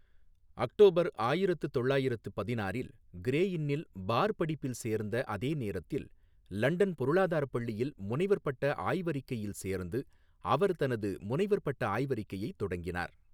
October ஆயிரத்து தொள்ளாயிரத்து பதினாறில், கிரே இன்னில் பார் படிப்பில் சேர்ந்த அதே நேரத்தில் லண்டன் பொருளாதாரப் பள்ளியில் முனைவர் பட்ட ஆய்வறிக்கையில் சேர்ந்து அவர் தனது முனைவர் பட்ட ஆய்வறிக்கையைத் தொடங்கினார்.